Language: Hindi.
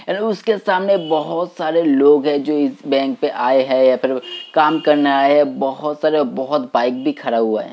हेलो उसके सामने बहोत सारे लोग हैं जो इस बैंक पे आए हैं या फिर काम करने आए है। बहोत सारे। बहोत बाइक भी खड़ा हुआ है।